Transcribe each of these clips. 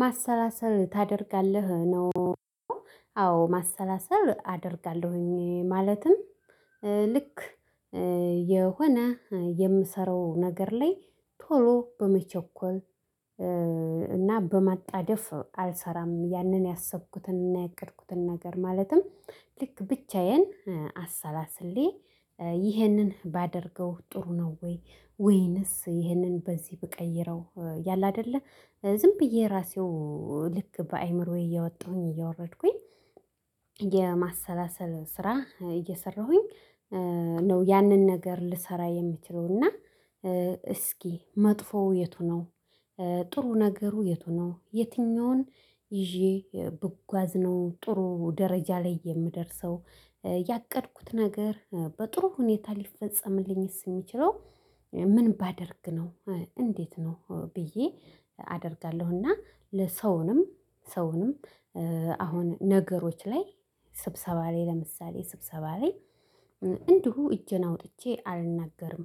ማሰላሰል ታደርጋለህ ነው? አዎ ማሰላሰል አደርጋለሁኝ ማለትም- ልክ የሆነ የምሰራው ነገር ላይ ቶሎ በመቸኮል እና በማጣደፍ አልሰራም ያንን ያሰብኩትንና ያቀድኩትን ነገር ማለትም- ልክ ብቻዬን አሰላስሌ ይህንን ባደርገው ጥሩ ነው ወይ ወይንስ ይህንን በዚህ ብቀይረው ያለ አይደለ። ዝም ብዬ ራሴው ልክ በአእምሮዬ እያወጣሁኝ እያወረድኩኝ የማሰላሰል ስራ እየሰራሁኝ ነው። ያንን ነገር ልሰራ የምችለው እና: እስኪ መጥፎው የቱ ነው? ጥሩ ነገሩ የቱ ነው? የትኛውን ይዤ ብጓዝ ነው ጥሩ ደረጃ ላይ የምደርሰው? ያቀድኩት ነገር በጥሩ ሁኔታ ሊፈጸምልኝስ የሚችለው ምን ባደርግ ነው? እንዴት ነው ብዬ አደርጋለሁ እና ለሰውንም ሰውንም- አሁን ነገሮች ላይ ስብሰባ ላይ ለምሳሌ :ስብሰባ ላይ እንዲሁ እጄን አውጥቼ አልናገርም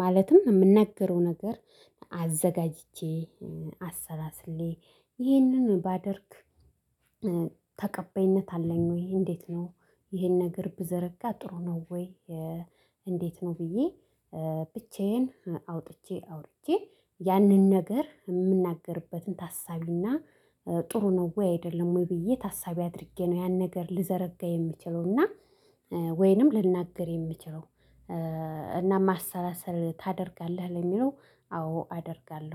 ማለትም የምናገረው ነገር አዘጋጅቼ አሰላስሌ። ይህንን ባደርግ ተቀባይነት አለኝ ወይ? እንዴት ነው ይሄን ነገር ብዘረጋ ጥሩ ነው ወይ? እንዴት ነው ብዬ ብቻዬን አውጥቼ አውርቼጄ ያንን ነገር የምናገርበትን ታሳቢና ጥሩ ነው? ወይ አይደለም ወይ? ብዬ ታሳቢ አድርጌ ነው ያን ነገር ልዘረጋ የምችለውና:- ወይንም ልናገር የምችለው እና ማሰላሰል ታደርጋለህ? ለሚለው አዎ አደርጋለሁ።